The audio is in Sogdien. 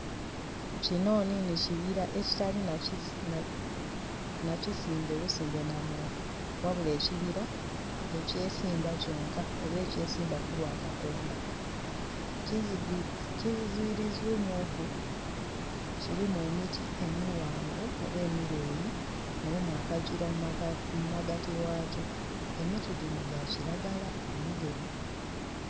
Kino nhinhi kibira ekitali na kisimbe busimbe na muntu. Wabula ekibira ekyesimba kyonka oba ekyesimba ku lwa Katonda. Kizibirivu mu ku kilimu emiti emighanvu oba emileyi, mulimu akagira mu magati ghakyo emiti gino gya kilagala omugemu.